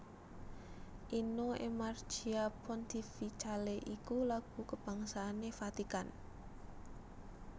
Inno e Marcia Pontificale iku lagu kabangsané Vatikan